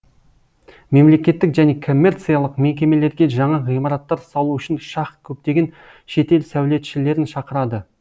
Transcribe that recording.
мемлекеттік және коммерциялық мекемелерге жаңа ғимараттар салу үшін шах көптеген шетел сәулетшілерін шақырады